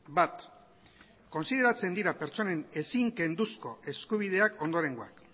bat kontsideratzen dira pertsonen ezin kenduzko eskubideak ondorengoak